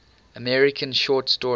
american short story